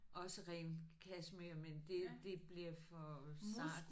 Også ren kashmir men det det bliver for sart